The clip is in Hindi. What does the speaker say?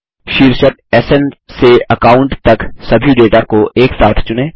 शीर्षक स्न से अकाउंट तक सभी डेटा को एक साथ चुनें